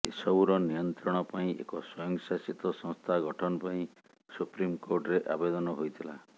ଏସବୁର ନିୟନ୍ତ୍ରଣ ପାଇଁ ଏକ ସ୍ୱୟଂଶାସିତ ସଂସ୍ଥା ଗଠନ ପାଇଁ ସୁପ୍ରିମକୋର୍ଟରେ ଆବେଦନ ହୋଇଥିଲା